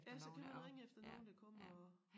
Ja så kan man ringe efter nogen der kommer og